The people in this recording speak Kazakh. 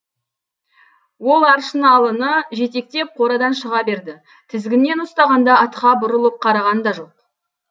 ол аршыналыны жетектеп қорадан шыға берді тізгіннен ұстағанда атқа бұрылып қараған да жоқ